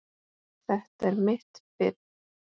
Þetta er mitt fiff.